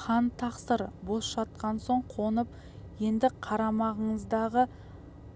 хан тақсыр бос жатқан соң қонып едікқарамағыңыздағы